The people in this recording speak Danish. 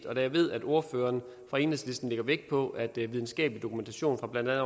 og da jeg ved at ordføreren fra enhedslisten lægger vægt på at videnskabelig dokumentation fra blandt